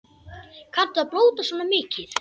Kanntu að blóta svona mikið?